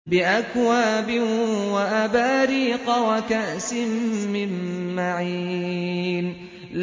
بِأَكْوَابٍ وَأَبَارِيقَ وَكَأْسٍ مِّن مَّعِينٍ